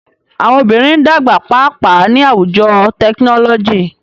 Awọn obinrin n dagba paapaa ni awujo tekinọlọji.